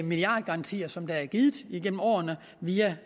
milliardgarantier som der er givet igennem årene via